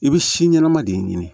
I bɛ si ɲɛnama de ɲini